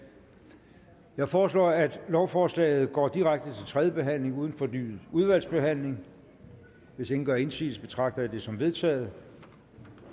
jeg foreslår at lovforslaget går direkte til tredje behandling uden fornyet udvalgsbehandling hvis ingen gør indsigelse betragter jeg dette som vedtaget